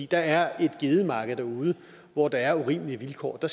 der er et gedemarked derude hvor der er urimelige vilkår og